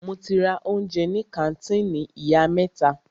Mo ti ra oúnjẹ ní kàńtìnì ìyá mẹ́ta.